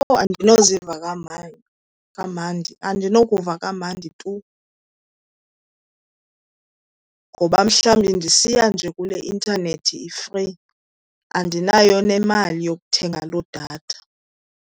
Oh andinoziva kamandi, andinokuva kamandi tu. Ngoba mhlawumbi ndisiya nje kule intanethi i-free andinayo nemali yokuthenga loo datha.